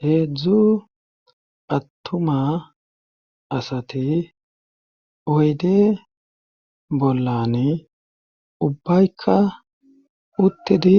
Heedzdzu attuma asati oyde bollan ubbaykka uttedi